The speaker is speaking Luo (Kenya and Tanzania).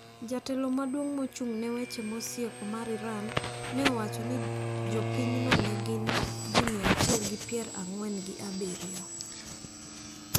Jatelo maduong` mochung` ne weche masieko mar Iran ne owacho ni jopinyno ne gin ji mia achiel gi pier ang`wen gi abiriyo.